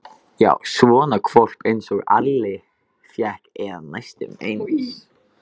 Já, svona hvolp einsog Alli fékk, eða næstum eins.